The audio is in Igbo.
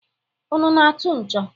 Unu na-atụ ǹchọ̀?